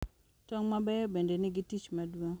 Tong' mabeyo bende nigi tich maduong’